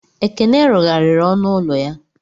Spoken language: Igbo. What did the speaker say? Ekene rụgharịrị ọnụ ụlọ ya.